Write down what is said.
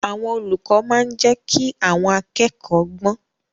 Àwọn olùkọ́ máa ń jẹ́ kí àwọn akẹ́kọ̀ọ́ gbọ́n.